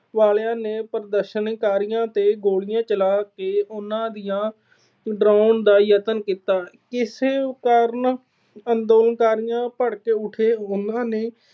ਵਾਲਿਆਂ ਨੇ ਪ੍ਰਦਰਸ਼ਨਕਾਰੀਆਂ ਤੇ ਗੋਲੀਆਂ ਚਲਾ ਕੇ ਉਹਨਾਂ ਨੂੰ ਡਰਾਉਣ ਦਾ ਯਤਨ ਕੀਤਾ। ਇਸ ਕਾਰਨ ਅੰਦੋਲਨਕਾਰੀ ਭੜਕ ਉਠੇ। ਉਹਨਾਂ ਨੇ